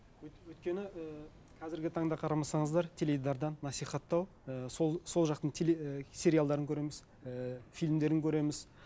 өйткені ііі қазіргі таңда қарамасаңыздар теледидардан насихаттау ы сол сол жақтың ііі сериалдарын көреміз ііі фильмдерін көреміз